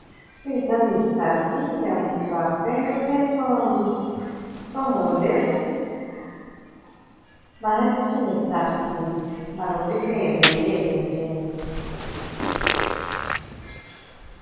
Eza misapi ya moto ya pembe to mondele balatisi misapi ba lopete ebele ekeseni.